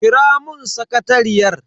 Kira mun sakatariyar.